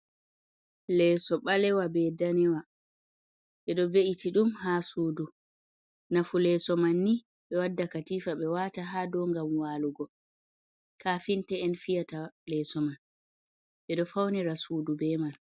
Leeso ɓaleewa, be daniwa, ɓe ɗo ve’iti ɗum haa suudu, nafu leeso man ni ɓe wadda katifa ɓe waata haa doo ngam waalugo, kafinte’en fiyata leeso man, ɓe ɗo faunira suudu be man.